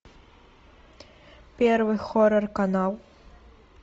первый хоррор канал